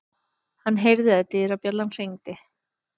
Hann heyrði að dyrabjallan hringdi.